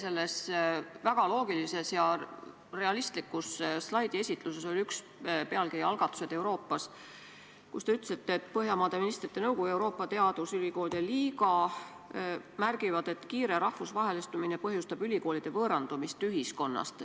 Teie väga loogilises ja realistlikus slaidiesituses oli üks pealkiri "Algatused Euroopas", mille juures te ütlesite, et Põhjamaade Ministrite Nõukogu ja Euroopa Teadusülikoolide Liiga märgivad, et kiire rahvusvahelistumine põhjustab ülikoolide võõrandumist ühiskonnast.